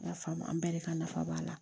I y'a faamu an bɛɛ de ka nafa b'a la